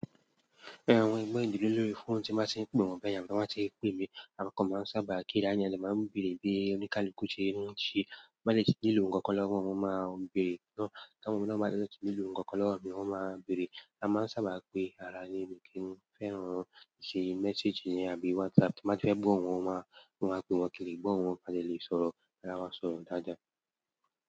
Ẹran ohun ẹ̀gbọ́n ìdílé lórí fóònù tí a máa tí ń pè wọ́n bẹ́yà mí, bí wọ́n bá tí ń pè mí, àwọn kan máa ń sábà kí rani máa ń bèrè bíi oníkálukú ṣe ń mú u ṣe, má le tí ìlò òǹkọ́ lọ́wọ́ wọn máa ń bèrè, ká mọ̀ bí wọ́n bá ti lọ̀ ní ìlò ǹkan kan lọ́wọ́ mi wọn máa ń bèrè. A máa ń sábà pe ara níbi kí n fẹ́ràn wọn, ṣẹ́ messager àbí WhatsApp kí a má fẹ́ gbọ́ ohun wọn máa ń pe wọn kiri, gbọ́ ohun wọn bá lè sọ̀rọ̀ aláwọ̀ sọ̀rọ̀ dáadáa.